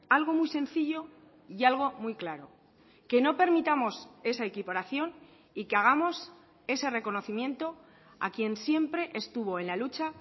algo muy sencillo y algo muy claro que no permitamos esa equiparación y que hagamos ese reconocimiento a quien siempre estuvo en la lucha